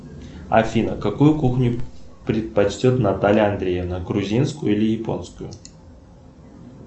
афина какую кухню предпочтет наталья андреевна грузинскую или японскую